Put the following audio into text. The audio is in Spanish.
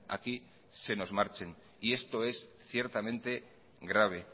aquí se nos marchen y esto es ciertamente grave